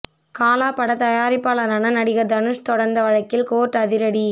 காலா படத் தயாரிப்பாளரான நடிகர் தனுஷ் தொடர்ந்த வழக்கில் கோர்ட் அதிரடி